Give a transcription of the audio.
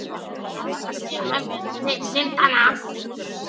Ég fékk að segja mönnum til syndanna.